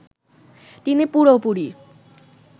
তিনি পুরোপুরি